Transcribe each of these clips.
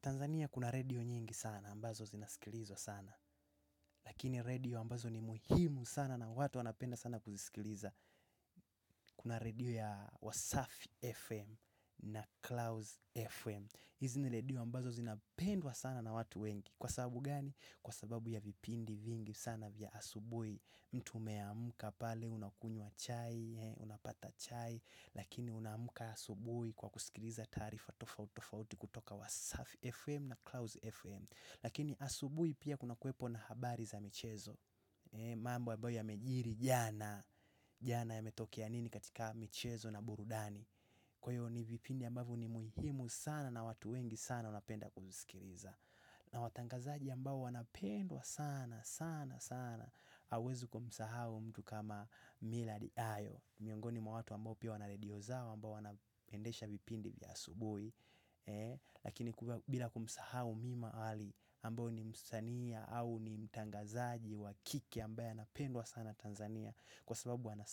Tanzania kuna radio nyingi sana, ambazo zinasikilizwa sana. Lakini redio ambazo ni muhimu sana na watu wanapenda sana kuzisikiliza. Kuna radio ya Wasafi FM na Klaus FM. Hizi ni radio ambazo zinapendwa sana na watu wengi. Kwa sababu gani? Kwa sababu ya vipindi vingi sana vya asubui. Mtu umeamka pale unakunywa chai, unapata chai lakini unamka asubui kwa kusikiliza taarifa tofauti tofauti kutoka wasafi FM na Klaus FM. Lakini asubui pia kuna kwepo na habari za michezo mambo ambayo yamejiri jana, jana yametokea nini katika michezo na burudani kwa hivyo ni vipindi ambavyo ni muhimu sana na watu wengi sana wanapenda kumusikiliza na watangazaji ambao wanapendwa sana, sana, sana. Hawuezi kumsahau mtu kama mila di ayo miongoni mwa watu ambao pia wana redio zao ambao wanaendesha vipindi vya asubuhi lakini bila kumsahau mima ali ambao ni msanii au ni mtangazaji wa kike ambaye anapendwa sana Tanzania. Kwa sababu ana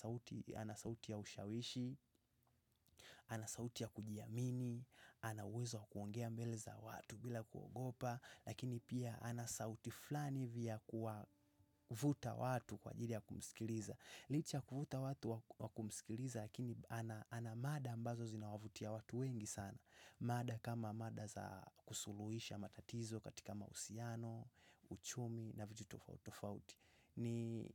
sauti ya ushawishi, ana sauti ya kujiamini, ana uwezo wa kuongea mbele za watu bila kuogopa lakini pia ana sauti flani vya kuwa kuvuta watu kwa ajili ya kumsikiliza licha ya kuvuta watu wa kumsikiliza lakini ana mada ambazo zinawavutia watu wengi sana mada kama mada za kusuluhisha matatizo katika mahusiano, uchumi na vitu tofauti tofauti ni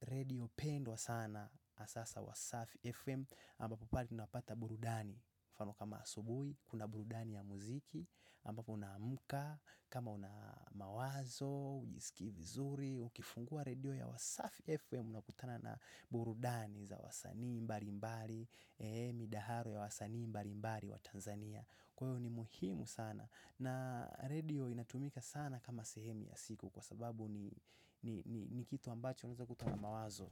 redio pendwa sana hasa za Wasafi FM ampapo pale tunapata burudani mfano kama asubuhi, kuna burudani ya muziki ambapo unaamka, kama una mawazo, hujiskii vizuri, ukifungua redio ya wasafi FM unakutana na burudani za wasanii mbalimbali, eh midahalo ya wasanii mbalimbali wa Tanzania kwaiyo ni muhimu sana na redio inatumika sana kama sehemu ya siku kwa sababu ni ni kitu ambacho unaeza kutwa na mawazo.